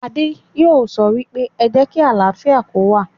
Adé yóò sọ wípé, 'Ẹ jẹ́ kí àlàáfíà kó wà'